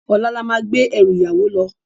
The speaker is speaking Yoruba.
Òlá lá má gbé èrú iyàwó lò